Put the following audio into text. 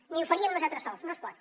ni ho faríem nosaltres sols no es pot